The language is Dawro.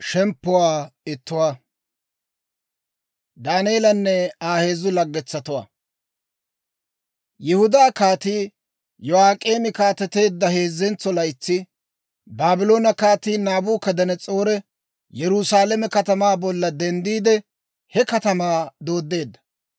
Yihudaa Kaatii Yo'ak'eemi kaateteedda heezzentso laytsi, Baabloone Kaatii Naabukadanas'oori Yerusaalame katamaa bolla denddiide, he katamaa dooddeedda.